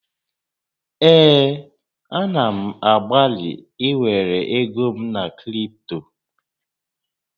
Ee, a na m agbalị ịwere ego m na kripto